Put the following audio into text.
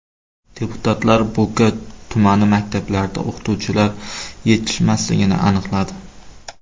Deputatlar Bo‘ka tumani maktablarida o‘qituvchilar yetishmasligini aniqladi.